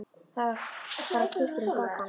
Það fara kippir um bak hans.